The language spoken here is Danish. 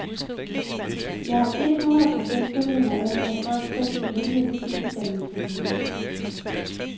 Jeg er ethundrede procent tilhænger af, at folk selv skal vælge, hvilken uddannelse, de ønsker.